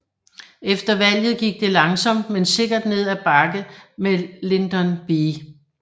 Efter valget gik det langsomt men sikkert ned ad bakke med Lyndon B